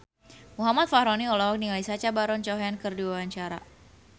Muhammad Fachroni olohok ningali Sacha Baron Cohen keur diwawancara